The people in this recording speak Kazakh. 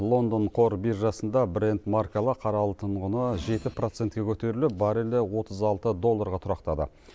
лондон қор биржасында брент маркалы қара алтын құны жеті процентке көтеріліп баррелі отыз алты долларға тұрақтады